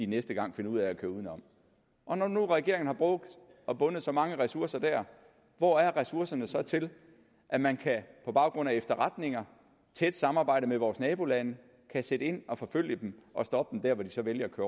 næste gang finder ud af at køre udenom når nu regeringen har brugt og bundet så mange ressourcer der hvor er ressourcerne så til at man på baggrund af efterretninger og tæt samarbejde med vores nabolande kan sætte ind og forfølge dem og stoppe dem dér hvor de så vælger at